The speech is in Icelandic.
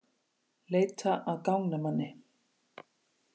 Leita að gangnamanni